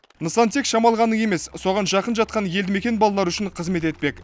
нысан тек шамалғанның емес соған жақын жатқан елді мекен балалары үшін қызмет етпек